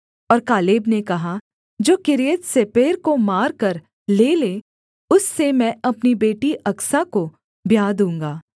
और कालेब ने कहा जो किर्यत्सेपेर को मारकर ले ले उससे मैं अपनी बेटी अकसा को ब्याह दूँगा